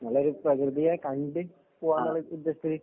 നല്ലൊരു പ്രകൃതിയെ കണ്ടു പോവാനുള്ള ഉദ്ദേശത്തില്